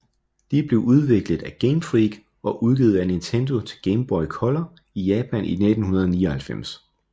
De blev udviklet af Game Freak og udgivet af Nintendo til Game Boy Color i Japan i 1999